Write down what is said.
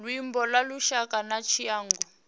luimbo lwa lushaka na tshiangu